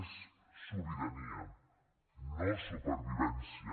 és sobirania no supervivència